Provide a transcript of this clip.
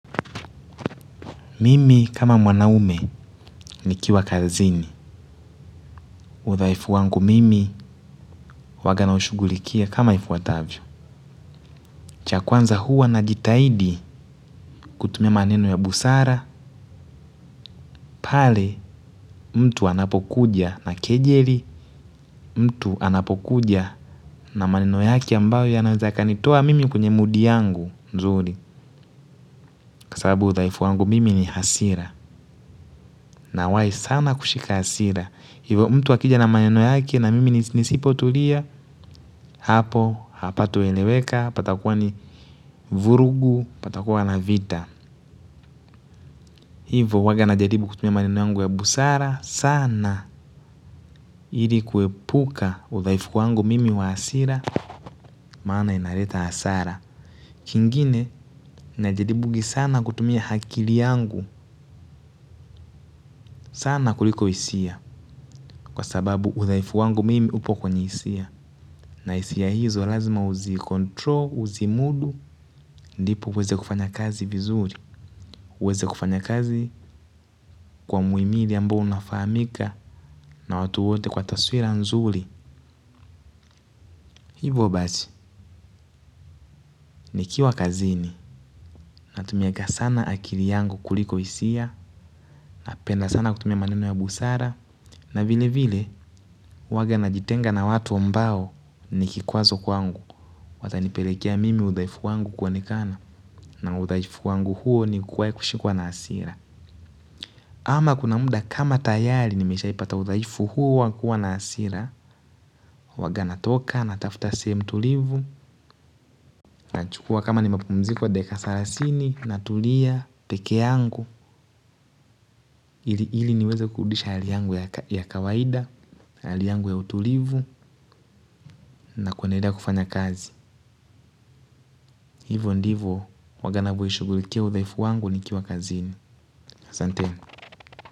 Mimi kama mwanaume nikiwa kazini. Udhaifu wangu mimi huwaga nashughulikia kama ifuatavyo. Cha kwanza huwa na jitahidi kutumia maneno ya busara. Pale mtu anapokuja na kejeli. Mtu anapokuja na maneno yake ambayo yanaweza kanitoa mimi kwenye mudi yangu nzuri. Kwa sabu udhaifu wangu mimi ni hasira. Nawai sana kushika hasira. Hivo mtu akija na maneno yake na mimi nisipo tulia hapo hapa tueleweka patakuwa ni vurugu patakuwa na vita. Hivo huwaga na jaribu kutumia maneno yangu ya busara sana ili kuepuka udhaifu wangu mimi wa hasira. Maana inaleta hasara. Kingine najaribungi sana kutumia akili yangu. Sana kuliko hisia. Kwa sababu udhaifu wangu mimi upo kwenye isia. Na hisia hizo lazima uzi kontro, uzi mudu. Ndipo uweze kufanya kazi vizuri. Uweze kufanya kazi kwa muimili ambao unafahamika na watu wote kwa taswira nzuri. Hivo basi nikiwa kazini natumianga sana akili yangu kuliko hisia napenda sana kutumia maneno ya busara na vile vile huwanga najitenga na watu ambao ni kikwazo kwangu. Wata nipelekea mimi udhaifu wangu kuonekana na udhaifu wangu huo ni kuwahi kushikwa na hasira. Ama kuna muda kama tayari nimeshaipata udhaifu huu wa kua na hasira. Waga natoka natafuta sehemu tulivu. Nachukua kama ni mapumziko dakika salasini. Natulia pekee yangu ili ili niweza kurudisha hali yangu ya kawaida hali yangu ya utulivu na kuwa naenda kufanya kazi hivyo ndivyo waga naushughulikia udhaifu wangu nikiwa kazini asanteni.